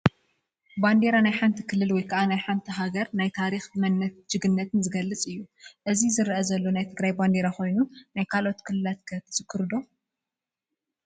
ባንዴራ ናይ ሓንቲ ክልል ወይ ሃገር ናይ ታሪክ መንነትን ጅግነትን ዝገልፅ እዩ፡፡ እዚ ዝረአ ዘሎ ናይ ትግራይ ባንዴራ ኮይኑ ናይ ካልኦት ክልላት ከ ትዝክሩ ዶ?